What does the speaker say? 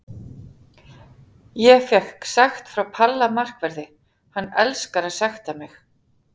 Ég fékk sekt frá Palla markverði, hann elskar að sekta mig.